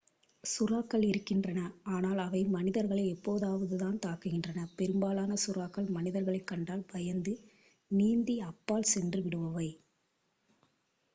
சுறாக்கள் இருக்கின்றன ஆனால் அவை மனிதர்களை எப்போதாவதுதான் தாக்குகின்றன பெரும்பாலான சுறாக்கள் மனிதர்களைக் கண்டால் பயந்து நீந்தி அப்பால் சென்று விடுபவை